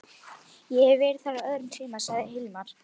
Ég hef verið þar á öðrum tíma, sagði Hilmar.